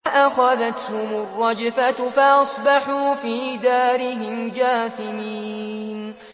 فَأَخَذَتْهُمُ الرَّجْفَةُ فَأَصْبَحُوا فِي دَارِهِمْ جَاثِمِينَ